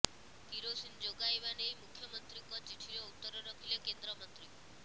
kerosene ଯୋଗାଇବା ନେଇ ମୁଖ୍ୟମନ୍ତ୍ରୀଙ୍କ ଚିଠିର ଉତ୍ତର ରଖିଲେ କେନ୍ଦ୍ରମନ୍ତ୍ରୀ